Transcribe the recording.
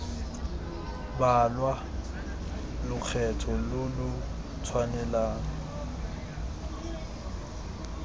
balwa lokgetho lo lo tshwanelang